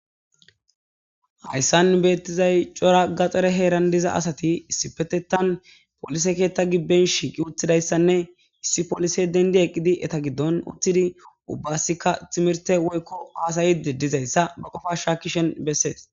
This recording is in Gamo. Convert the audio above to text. Hayssan nus betizay coora gadhare heeran dizan asatti issipetteththan polisse keththan giiben shiqidi uttidayssa gididanne issi polisse denddi eqqidi uttidi ubbassikka timirte woykko hasa'iddi dizayssa qofa shakkishin besses.